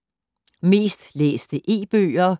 Mest læste E-bøger